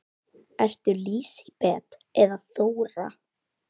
Ertu Lísibet eða Þóra?